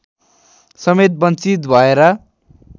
समेत वञ्चित भएर